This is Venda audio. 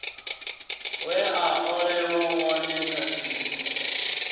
we a olelwa wone kathihi